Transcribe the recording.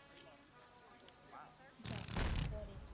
যা পড়ে